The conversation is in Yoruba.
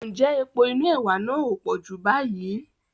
Ǹjẹ́ epo inú ẹwà náà ò pọ̀ Júù báyìí?